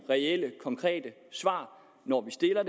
reelle svar når vi stiller